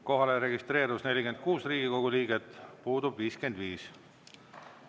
Kohale registreerus 46 Riigikogu liiget, puudub 55.